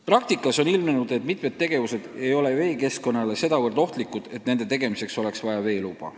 Praktikas on ilmnenud, et mitut laadi tegevused ei ole veekeskkonnale sedavõrd ohtlikud, et nende tegemiseks oleks vaja veeluba.